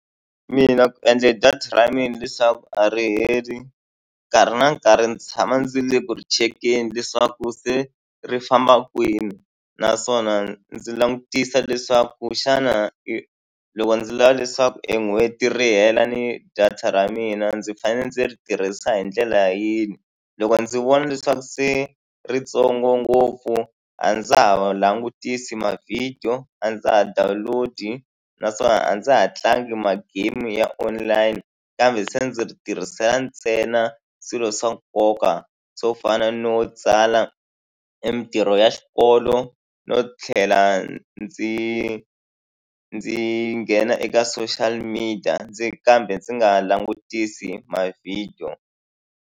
Mina ku endle leswaku a ri heli, nkarhi na nkarhi ndzi tshama ndzi ri eku ri chekeni leswaku se ri famba kwini. Naswona ndzi langutisa leswaku xana hi loko ndzi lava leswaku e n'hweti ri hela ni data ra mina ndzi fanele ndzi ri tirhisa hi ndlela yini. Loko ndzi vona leswaku se i ri ntsongo ngopfu, a ndza ha wa langutisi mavhidiyo, a ndza ha download-i naswona a ndza ha tlangi ma-game ya online. Kambe se ndzi ri tirhisela ntsena swilo swa nkoka swo fana no tsala mintirho ya xikolo, no tlhela ndzi ndzi nghena eka social media, ndzi kambe ndzi nga langutisi mavhidiyo.